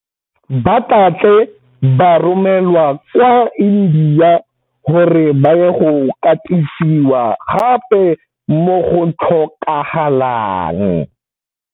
Ba tla tle ba romelwa kwa India gore ba ye go katisiwa gape mo go tlhokagalang.